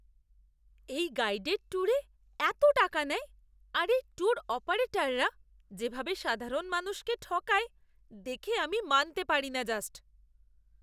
এই গাইডেড ট্যুরে এত টাকা নেয় আর এই ট্যুর অপারেটররা যেভাবে সাধারণ মানুষকে ঠকায় দেখে আমি মানতে পারিনা জাস্ট!